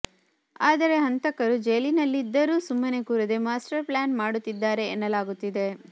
ಆದರೆ ಹಂತಕರು ಜೈಲಿನಲ್ಲಿದ್ದರೂ ಸುಮ್ಮನೆ ಕೂರದೆ ಮಾಸ್ಟರ್ ಪ್ಲಾನ್ ಮಾಡುತ್ತಿದ್ದಾರೆ ಎನ್ನಲಾಗುತ್ತಿದೆ